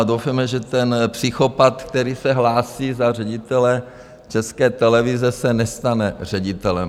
A doufejme, že ten psychopat, který se hlásí za ředitele České televize, se nestane ředitelem.